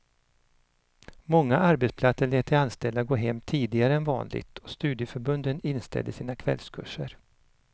Många arbetsplatser lät de anställda gå hem tidigare än vanligt och studieförbunden inställde sina kvällskurser.